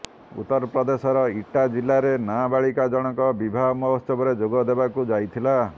ଉତ୍ତରପ୍ରଦେଶର ଇଟା ଜିଲ୍ଲାରେ ନାବାଳିକା ଜଣକ ବିବାହ ମହୋତ୍ସବରେ ଯୋଗଦେବାକୁ ଯାଇଥିଲା